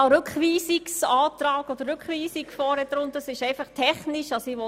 Hier steht zwar Rückweisung, aber das ist eine technische Frage.